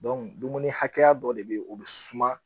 dumuni hakɛya dɔ de be yen o bi suma